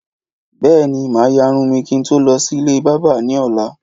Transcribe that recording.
Bèéní, màá yárun mi kin tó lọ sí ilé bábà ní ọ̀la